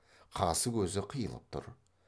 қасы көзі қиылып тұр